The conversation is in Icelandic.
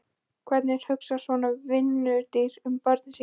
Hvernig hugsar svona vinnudýr um börnin sín?